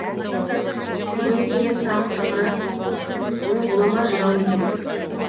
мөңкенің тағы бір қыры оның ғұлама жырау екендігі